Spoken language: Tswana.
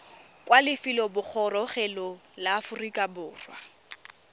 kwa lefelobogorogelong la aforika borwa